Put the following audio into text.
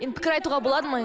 енді пікір айтуға болады ма